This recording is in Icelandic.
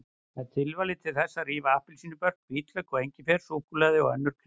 Það er tilvalið til þess að rífa appelsínubörk, hvítlauk, engifer, súkkulaði og önnur krydd.